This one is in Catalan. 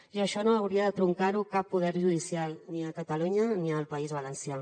i això no hauria de truncar ho cap poder judicial ni a catalunya ni al país valencià